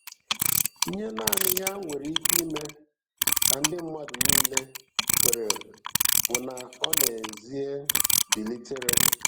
Ihe naanị ya nwere ike ime ka ndị mmadụ niile kwere bụ na ọ n’ezie bilitere.